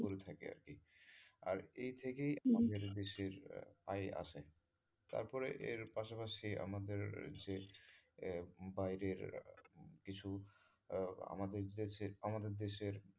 থাকে আরকি আর এই থেকেই আমাদের দেশের আয় আসে তারপরে এর পাশাপাশি আমাদের যে আহ বাইরের কিছু আহ আমাদের দেশের আমাদের দেশের,